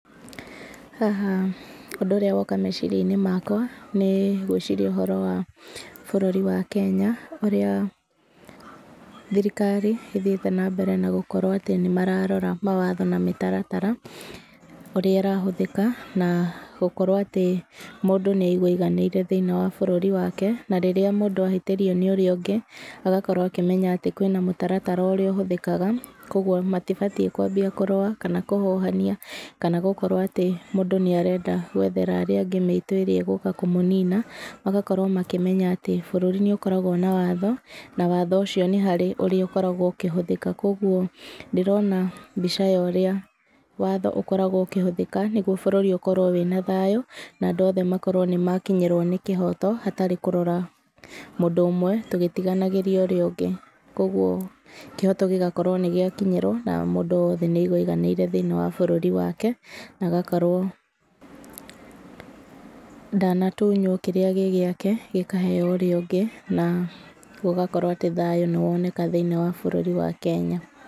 Haha ũndũ ũrĩa woka meciria-inĩ makwa, nĩ gwĩciria ũhoro wa bũrũri wa Kenya, ũrĩa thirikari, ĩthiĩte na mbere na gũkorwo atĩ nĩ mararora mawatho na mĩtaratara, ũrĩa ĩrahũthĩka, na gũkorwo atĩ mũndũ nĩ aigua aiganĩire thĩini wa bũrũri wake. Na rĩrĩa mũndũ ahĩtĩrio nĩ ũrĩa ũngĩ, agakorwo akĩmenya atĩ kwĩna mũtaratara ũrĩa ũhũthĩkaga, kũguo matibatiĩ kwambia kũrũa, kana kũhũhania, kana gũkorwo atĩ mũndũ nĩ arenda gwethera arĩa angĩ mĩitũ ĩrĩa ĩgũka kũmũnini. Magakorwo makĩmenya atĩ, bũrũri nĩ ũkoragwo na watho, na watho ũcio nĩ harĩ ũrĩa ũkoragwo ũkĩhũthĩka. Kũguo ndĩrona mbica ya ũrĩa watho ũkoragwo ũkĩhũthĩka, nĩguo bũrũri ũkorwo wĩna thayũ, na andũ othe makorwo nĩ makinyĩrwo nĩ kĩhooto, hatarĩ kũrora mũndũ ũmwe tũgĩtiganagĩria ũrĩa ũngĩ. Kũguo kĩhooto gĩgakorwo nĩ gĩakinyĩrwo, na mũndũ wothe nĩ aigua aiganĩire thĩini wa bũrũri wake, na agakorwo ndanatunywo kĩrĩa gĩ gĩake, gĩkaheeo ũrĩa ũngĩ, na gũgakorwo atĩ thayũ nĩ woneka thĩinĩ wa bũrũri wa Kenya.